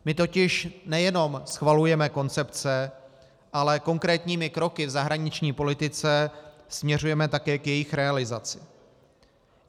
My totiž nejenom schvalujeme koncepce, ale konkrétními kroky v zahraniční politice směřujeme také k jejich realizaci.